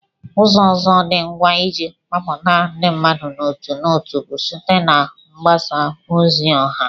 Ụzọ ọzọ dị ngwa iji kpọkọta ndị mmadụ n'otu n'otu bụ site na mgbasa ozi ọha